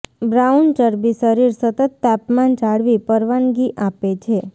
brown ચરબી શરીર સતત તાપમાન જાળવી પરવાનગી આપે છે